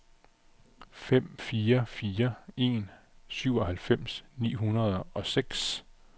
fem fire fire en syvoghalvfems ni hundrede og seks